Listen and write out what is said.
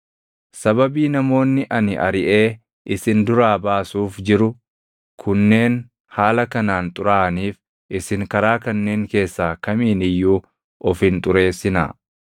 “ ‘Sababii namoonni ani ariʼee isin duraa baasuuf jiru kunneen haala kanaan xuraaʼaniif isin karaa kanneen keessaa kamiin iyyuu of hin xureessinaa.